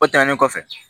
O tɛmɛnen kɔfɛ